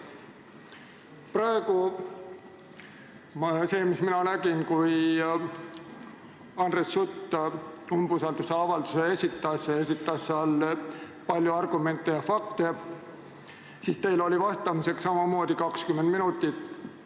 Praegu oli nii, et kui Andres Sutt umbusaldusavalduse esitas, siis esitas ta palju argumente ja fakte ning teil oli vastamiseks samamoodi 20 minutit.